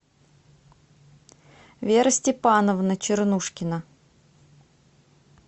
вера степановна чернушкина